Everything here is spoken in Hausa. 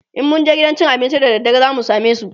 in mun je gidan cin abincin da daddare zamu samesu?